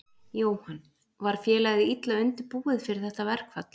Jóhann: Var félagið illa undirbúið fyrir þetta verkfall?